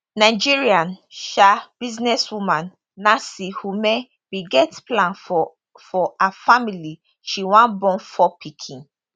nigerian um businesswoman nancy umeh bin get plan for for her family she wan born four pikin